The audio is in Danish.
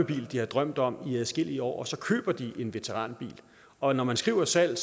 bil de har drømt om i adskillige år og så køber de en veteranbil og når man skriver salg